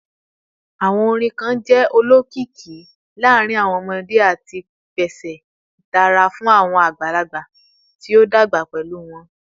Awọn orin kan jẹ olokiki laarin awọn ọmọde ati pese itara fun awọn agbalagba ti o dagba pẹlu wọn